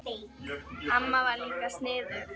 Amma var líka sniðug.